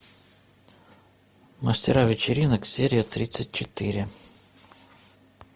мастера вечеринок серия тридцать четыре